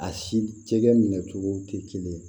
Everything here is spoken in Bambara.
A si cɛkɛ minɛ cogo tɛ kelen ye